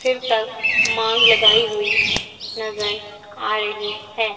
फिर तक मांग लगाई हुई नजर आ रही है।